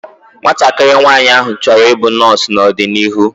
Nwatakịrị nwaanyị áhụ̀ chọrọ i bụ nọọsu n'ọdịnihu